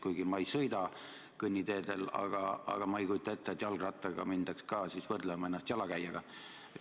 Kuigi ma ei sõida kõnniteedel, aga ma ei kujuta ette, et jalgrattaga sõitjat hakataks ka võrdlema jalakäijaga.